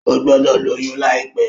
O gbọdọ lóyún laipẹ!